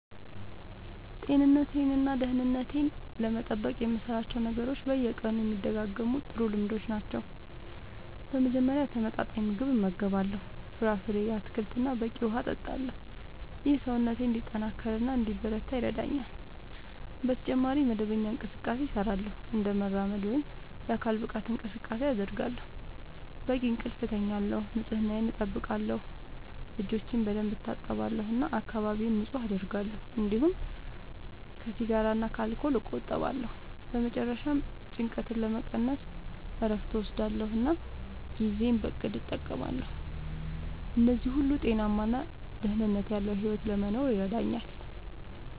ጤንነቴን እና ደህንነቴን ለመጠበቅ የምሠራቸው ነገሮች በየቀኑ የሚደጋገሙ ጥሩ ልምዶች ናቸው። በመጀመሪያ ተመጣጣኝ ምግብ እመገባለሁ፣ ፍራፍሬ፣ አትክልት እና በቂ ውሃ እጠቀማለሁ። ይህ ሰውነቴን እንዲጠናከር እና እንዲበረታ ይረዳኛል። በተጨማሪ መደበኛ እንቅስቃሴ እሠራለሁ፣ እንደ መራመድ ወይም የአካል ብቃት እንቅስቃሴ አደርጋለሁ፣ በቂ እንቅልፍ እተኛለሁ፣ ንጽህናየን አጠብቃለሁ (እጆቼን በደንብ እታጠባለሁ እና አካባቢዬን ንጹህ አደርጋለሁ)፤እንዲሁም ከሲጋራ እና ከአልኮል እቆጠባለሁ። በመጨረሻ ጭንቀትን ለመቀነስ እረፍት እወስዳለሁ እና ጊዜዬን በእቅድ እጠቀማለሁ። እነዚህ ሁሉ ጤናማ እና ደህንነት ያለዉ ሕይወት ለመኖር ይረዳኛል።